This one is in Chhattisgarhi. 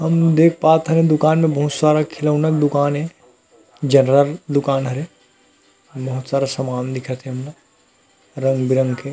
हमन देख पात हन ए दुकान में बहुत सारा खिलौना दुकान ए जर्नल दुकान हरे बहोत सारा सामान दिखत हे हमला रंग-बिरंग के--